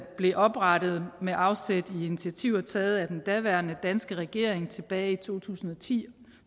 blev oprettet med afsæt i initiativer taget af den daværende danske regering tilbage i to tusind og ti